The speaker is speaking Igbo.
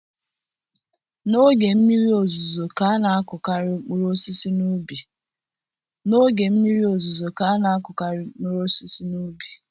N'oge mmiri ozuzo ka a na-akụkarị mkpụrụ osisi n'ubi